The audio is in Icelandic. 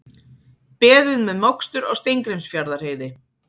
Beðið með mokstur á Steingrímsfjarðarheiði